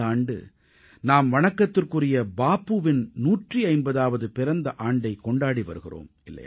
இந்த ஆண்டு நாம் வணக்கத்துக்குரிய பாபூவின் 150ஆவது பிறந்த ஆண்டைக் கொண்டாடி வருகிறோம்